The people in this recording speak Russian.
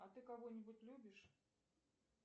а ты кого нибудь любишь